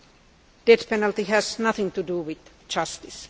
The death penalty has nothing to do with justice.